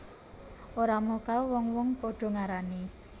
Ora mokal wong wong padha ngarani